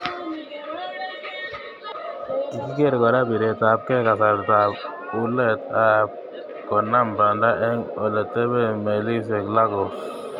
Kikiker kora piretabke kasarta ab ulet ak konam panda eng oletepen melisiek Lagos.